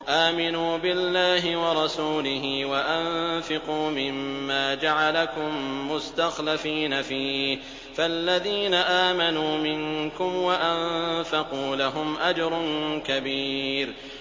آمِنُوا بِاللَّهِ وَرَسُولِهِ وَأَنفِقُوا مِمَّا جَعَلَكُم مُّسْتَخْلَفِينَ فِيهِ ۖ فَالَّذِينَ آمَنُوا مِنكُمْ وَأَنفَقُوا لَهُمْ أَجْرٌ كَبِيرٌ